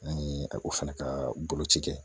An ye o fana ka boloci kɛ